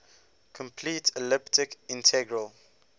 complete elliptic integral